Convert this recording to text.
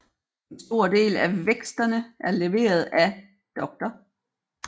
En stor del af væksterne er leveret af dr